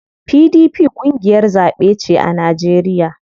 PDP ƙungiyar zaɓe ce a Najeriya.